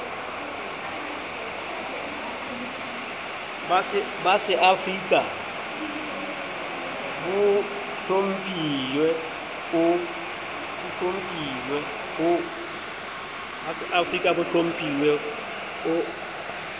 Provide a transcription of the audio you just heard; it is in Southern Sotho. ba seafrika bo hlomptjhwe o